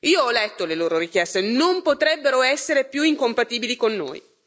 Io ho letto le loro richieste non potrebbero essere più incompatibili con noi.